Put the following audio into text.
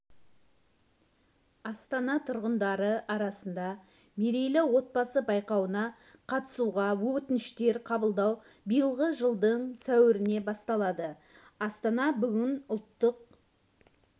астана тұрғындары арасында мерейлі отбасы байқауына қатысуға өтініштер қабылдау биылғы жылдың сәуірінде басталды астанада бүгін ұлттық